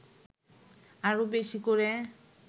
আরও বেশি করে